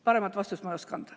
Paremat vastust ei oska ma anda.